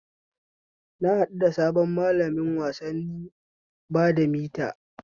Na haɗu da sabon malamin wasanni na badamita